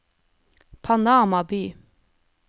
Panama by